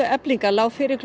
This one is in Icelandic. Eflingar lá fyrir